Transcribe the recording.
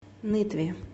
нытве